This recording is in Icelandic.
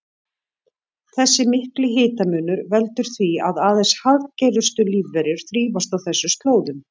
Þessi mikli hitamunur veldur því að aðeins harðgerustu lífverur þrífast á þessum slóðum.